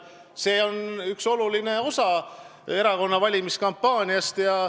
See on üks oluline osa erakonna valimiskampaaniast.